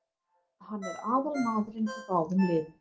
Hann er aðalmaðurinn í báðum liðum.